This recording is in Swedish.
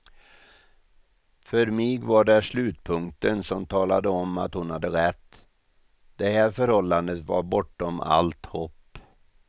För mig var det slutpunkten som talade om att hon hade rätt, det här förhållandet var bortom allt hopp.